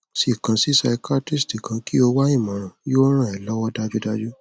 ṣe kan si psychiatrist kan ki o wa imọran yóò ràn ẹ lọwọ dájúdájú